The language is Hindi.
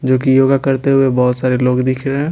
जो कि योगा करते हुए बहुत सारे लोग दिख रहे हैं।